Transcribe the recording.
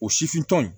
O sifin tɔ in